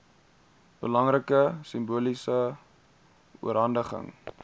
belangrike simboliese oorhandiging